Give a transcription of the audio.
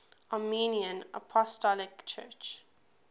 armenian apostolic church